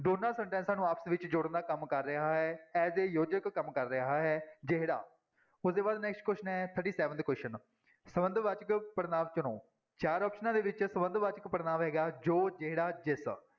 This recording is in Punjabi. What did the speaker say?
ਦੋਨਾਂ ਸਨਟੈਂਸਾਂ ਨੂੰ ਆਪਸ ਵਿੱਚ ਜੋੜਨ ਦਾ ਕੰਮ ਕਰ ਰਿਹਾ ਹੈ as a ਯੋਜਕ ਕੰਮ ਕਰ ਰਿਹਾ ਹੈ ਜਿਹੜਾ ਉਹਦੇ ਬਾਅਦ next question ਹੈ thirty-seventh question ਸੰਬੰਧਵਾਚਕ ਪੜ੍ਹਨਾਂਵ ਚੁਣੋ ਚਾਰ ਆਪਸਨਾਂ ਦੇ ਵਿੱਚ ਸੰਬੰਧਵਾਚਕ ਪੜ੍ਹਨਾਂਵ ਹੈਗਾ ਜੋ ਜਿਹੜਾ, ਜਿਸ